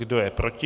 Kdo je proti?